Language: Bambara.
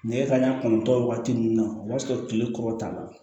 Nɛgɛ kanɲɛ kɔnɔntɔn waati ninnu na o b'a sɔrɔ kile kɔrɔ ta la